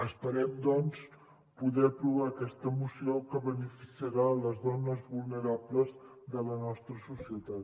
esperem doncs poder aprovar aquesta moció que beneficiarà les dones vulnera·bles de la nostra societat